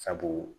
Sabu